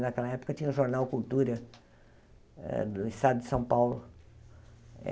Naquela época, tinha o jornal Cultura hã do estado de São Paulo.